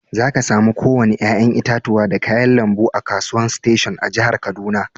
Zaka samu ko wanni yayan itatuwa da kayan lambu a'kasuwan station a'jihar Kaduna.